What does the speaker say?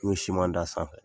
N'o simanda a sanfɛ